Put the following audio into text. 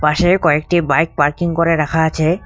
পাশে কয়েকটি bike parking করে রাখা আছে।